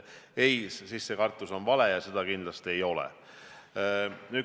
Ei, see kartus on vale, seda kindlasti ei ole.